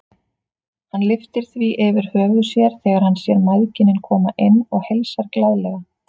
Hann lyftir því yfir höfuð sér þegar hann sér mæðginin koma inn og heilsar glaðlega.